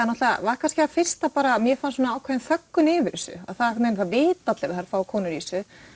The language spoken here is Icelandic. var það fyrsta bara mér fannst ákveðin þöggun yfir þessu það vita allir að það eru fáar konur í þessu